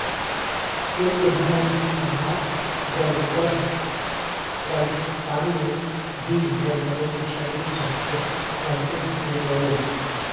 ملک بھر کی طرح گلگت بلتستان میں بھی زلزلے کے شدید جھٹکے محسوس کئے گئے